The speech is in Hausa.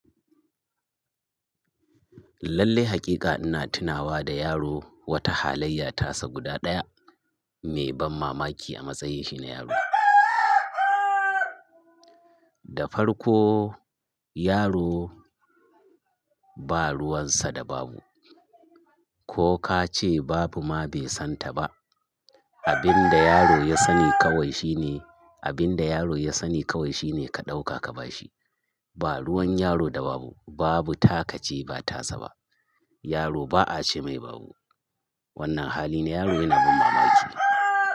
Lallai hakika ina tunawa da yaro wata halayya tasa guda daya mai ban mamaki a matsayin shi na yaro. Da farko yaro ba ruwansa da babu. Ko kace babu ma be santa ba. Abin da yaro ya sani kawai shine, abin da yaro ya sani kawai shine ka ɗauka ka ba shi. Ba ruwan yaro da babu, babu taka ce ba tasa ba. Yaro ba a ce mai babu. Wannan hali na yaro yana ban mamaki.